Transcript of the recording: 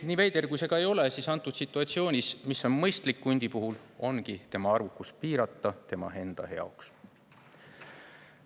Nii veider kui see ka ei ole, antud situatsioonis hundi puhul ongi mõistlik tema arvukust piirata tema enda jaoks.